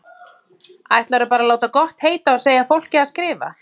Ætlarðu bara að láta gott heita að segja fólki að skrifa!